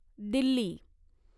Delhi